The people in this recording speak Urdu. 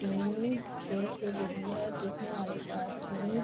ٹیم کھل کھل رہی ہے دیکھنے والے کی--